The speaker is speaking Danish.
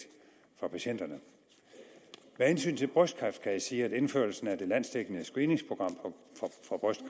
for patienterne med hensyn til brystkræft kan jeg sige at indførelsen af det landsdækkende screeningsprogram